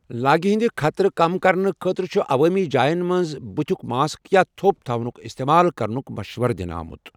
لاگہِ ہندِ خطرٕ کم کرنہٕ خٲطرٕ چُھ عوٲمی جاین منٛز بٕتھیُک ماسٕک یا تھو٘پ تھاونُک اِستعمال کرنُک مشوَرٕ دِنہٕ آمُت۔